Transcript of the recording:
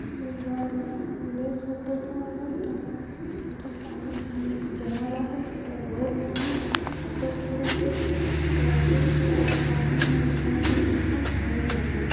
निमल लेस होटल हों एठने पानी जमल आहाय पूरा रोड में हे ऑटो ठधाय हे स्कार्पियो कार और जम्मो झन एठन ठढ़ाय आहाय